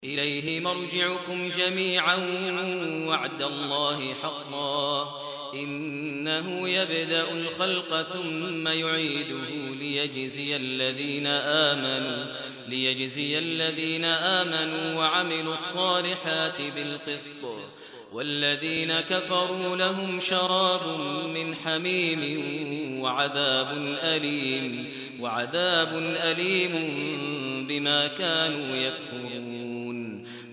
إِلَيْهِ مَرْجِعُكُمْ جَمِيعًا ۖ وَعْدَ اللَّهِ حَقًّا ۚ إِنَّهُ يَبْدَأُ الْخَلْقَ ثُمَّ يُعِيدُهُ لِيَجْزِيَ الَّذِينَ آمَنُوا وَعَمِلُوا الصَّالِحَاتِ بِالْقِسْطِ ۚ وَالَّذِينَ كَفَرُوا لَهُمْ شَرَابٌ مِّنْ حَمِيمٍ وَعَذَابٌ أَلِيمٌ بِمَا كَانُوا يَكْفُرُونَ